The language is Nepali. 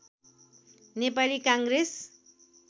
नेपाली काङ्ग्रेस